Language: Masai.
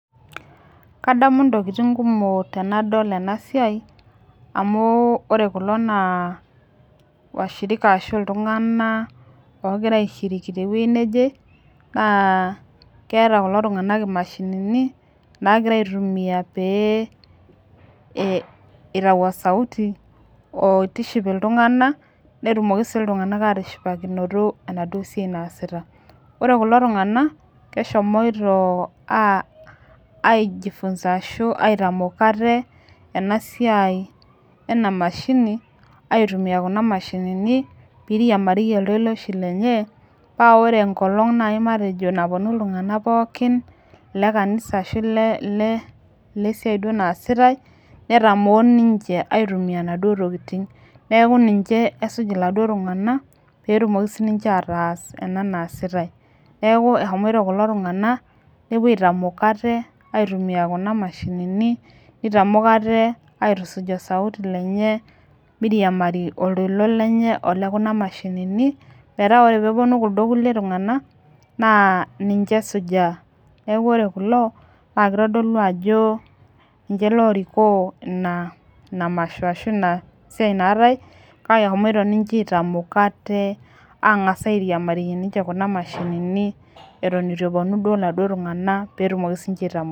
Kadamu intokiting kumok tenadol ena siai amu ore kulo naa washirika ashu iltung'anak ogira aishiriki tewueji neje naa keeta kulo tung'anak imashinini nakira aitumia pee eh itau osauti oitiship iltung'ana netumoki sii iltung'anak atishipakinoto enaduo siai naasita ore kulo tung'anak keshomioto uh aijifunza ashu aitamok ate ena siai ena mashini aitumia kuna mashinini peirimariyie iltoloishi lenye ore enkolong naaji matejo naponu iltung'anak pookin le kanisa ashu ile ile siai duo naasitae netamoo ninche aitumia inaduo tokiting neku ninche esuj iladuo tung'anak petumoki sininche ataas ena naasitae neku ehomoito kulo tung'anak nepuo aitamok ate aitumia kuna mashininni nitamok ate aitusuj osauti lenye miriamari oltoilo lenye ole kuna mashinini metaa ore peeponu kuldo kulie tung'anak naa ninche esujaa neku ore kulo naa kitodolu ajo ninche lorikoo ina ina masho ashui ina siai naatae kake ehomoito ninche aitamok ate ang'as airimarie ninche kuna mashinini eton etu eponu duo iladuo tung'anak petumoki sininche.